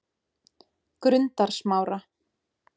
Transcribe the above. Grundarsmára